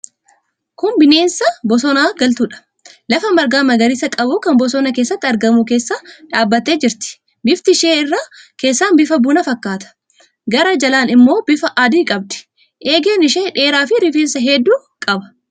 Kun bineensa bosonatti galtuudha. Lafa marga magariisa qabu kan bosona keessatti argamu keessa dhaabbattee jirti. Bifti ishee irra keessaan bifa bunaa fakkaata. Garaa jalaan immoo bifa adii qabdi. Eegeen ishee dheeraafi rifeensa hedduu qaba.